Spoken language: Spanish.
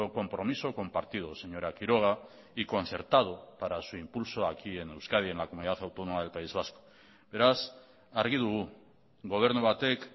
compromiso compartido señora quiroga y concertado para su impulso aquí en euskadi en la comunidad autónoma del país vasco beraz argi dugu gobernu batek